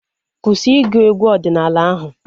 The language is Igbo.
Kwụsị ịgụ egwu ọdịnala ahu!